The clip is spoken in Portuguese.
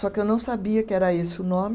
Só que eu não sabia que era esse o nome.